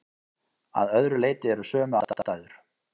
Að öðru leyti eru sömu aðstæður.